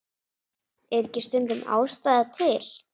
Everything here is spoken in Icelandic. Er ekki stundum ástæða til?